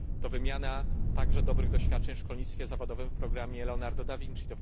To wymiana także dobrych doświadczeń w szkolnictwie zawodowym w programie Leonardo da Vinci.